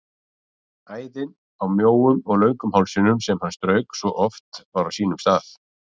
Æðin á mjóum og löngum hálsinum sem hann strauk svo oft var á sínum stað.